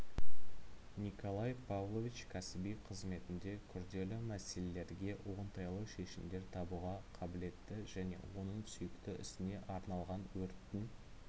николай павлович кәсіби қызметінде күрделі мәселелерге оңтайлы шешімдер табуға қабілетті және оның сүйікті ісіне арналған өрттің